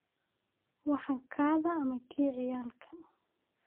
Waxaa kadhaa ama kii ciyalka?